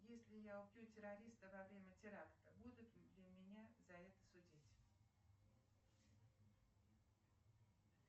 если я убью террориста во время теракта будут ли меня за это судить